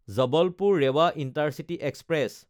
জবলপুৰ–ৰেৱা intercity express